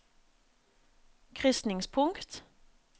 krysningspunkt